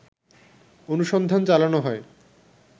অনুসন্ধান চালানো হয়